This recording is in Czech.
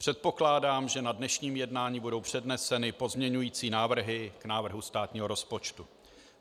Předpokládám, že na dnešním jednání budou předneseny pozměňovací návrhy k návrhu státního rozpočtu.